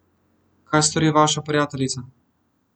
Kaj stori vaša prijateljica?